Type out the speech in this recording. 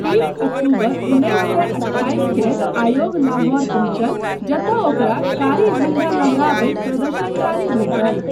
तीस अक्टूबर उन्नैस सए अट्ठाइसकेँ आयोग लाहौर पहुँचल जतय ओकरा कारी झण्डा लहराबैत प्रदर्शनकारी भेटल।